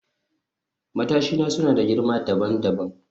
Matashina suna da girma dabam dabam